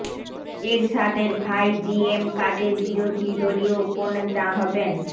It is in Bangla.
এরশাদের ভাই জি এম কাদের বিরোধী দলীয় উপনেতা হবেন